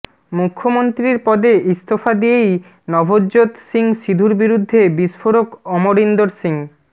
মুখ্যমন্ত্রীর পদে ইস্তফা দিয়েই নভজ্যোৎ সিং সিধুর বিরুদ্ধে বিস্ফোরক অমরিন্দর সিং